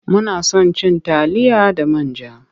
Muna son cin taliya da man ja.